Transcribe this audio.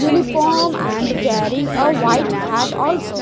uniform and wearing a white hat also.